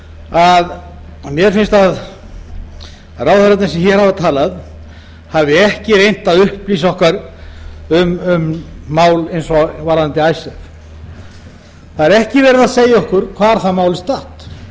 að mér finnst að ráðherrarnir sem hér hafa talað hafi ekki reynt að upplýsa okkur um mál eins og varðandi icesave það er ekki verið að segja okkur hvar það mál er statt það